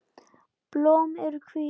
Blóm eru hvít.